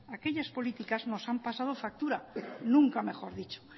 aquellas políticas nos han pasado factura nunca mejor dicho